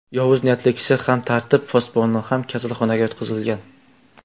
Yovuz niyatli kishi ham, tartib posboni ham kasalxonaga yotqizilgan.